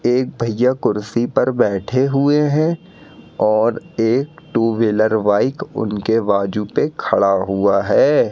एक भैया कुर्सी पर बैठे हुए हैं और एक टू व्हीलर बाइक उनके बाजू पे खड़ा हुआ है।